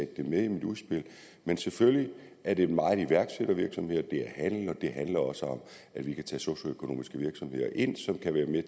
det med i mit udspil men selvfølgelig er det meget iværksættervirksomheder det er handel og det handler også om at vi kan tage socioøkonomiske virksomheder ind som kan være med